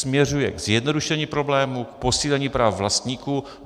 Směřuje ke zjednodušení problému, k posílení práv vlastníků.